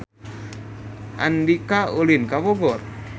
Andika ulin ka Bogor